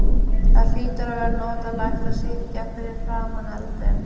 Það var hlýtt og notalegt að sitja fyrir framan eldinn.